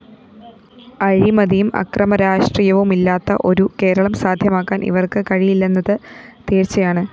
അഴിമതിയും അക്രമരാഷ്ട്രീയവുമില്ലാത്ത ഒരു കേരളം സാധ്യമാക്കാന്‍ ഇവര്‍ക്ക് കഴിയില്ലെന്നത് തീര്‍ച്ചയാണ്